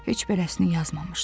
Heç birəsini yazmamışdı.